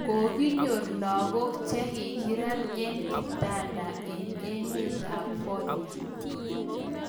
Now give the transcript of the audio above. Kokinyor lagok che ki kakirat eng kitanda eng emet ab fornia.